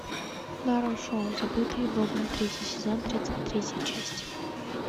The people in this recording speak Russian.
нарой шоу забытые богом третий сезон тридцать третья часть